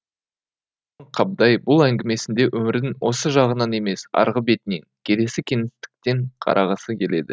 қабдай бұл әңгімесінде өмірдің осы жағынан емес арғы бетінен келесі кеңістіктен қарағысы келеді